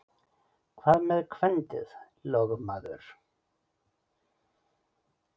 Hvað með kvendið, lögmaður?